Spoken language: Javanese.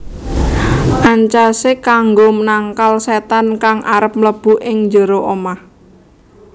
Ancasé kanggo nangkal sétan kang arep mlebu ing njero omah